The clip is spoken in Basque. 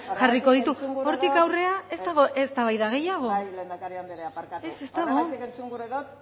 jarriko ditu hortik aurrera ez dago eztabaida gehiago ez ez dago bai lehendakari anderea barkatu horregatik entzun gura dut